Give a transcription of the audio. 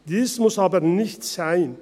Dies muss aber nicht sein.